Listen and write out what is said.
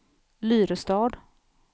Lyrestad